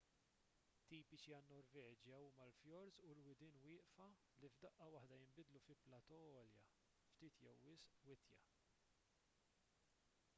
tipiċi għan-norveġja huma l-fjords u l-widien wieqfa li f'daqqa waħda jinbidlu fi platò għolja ftit jew wisq witja